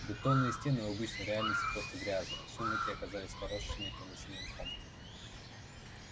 бетонные стены в обычной реальности просто грязные в сумраке оказались поросшими тёмно-синим мхом